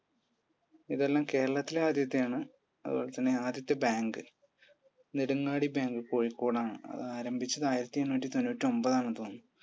ഇതെല്ലാം കേരളത്തിലെ ആദ്യത്തെയാണ് അതുപോലെത്തന്നെ ആദ്യത്തെ bank നെടുങ്ങാടി bank കോഴിക്കോട് ആണ് അത് ആരംഭിച്ചത് ആയിരത്തി എണ്ണൂറ്റി തൊണ്ണൂറ്റൊൻപത് ആണെന്ന് തോന്നുന്നു